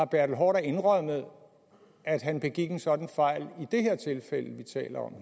bertel haarder indrømmet at han begik en sådan fejl